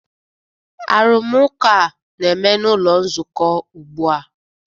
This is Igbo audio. Arụmụka a na-eme n'ụlọ nzukọ ugbu a